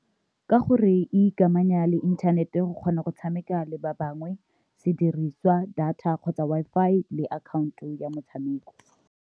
Ka gore e ikamanya le inthanete go kgona go tshameka le ba bangwe sediriswa, data, kgotsa Wi-Fi le account-o ya motshameko.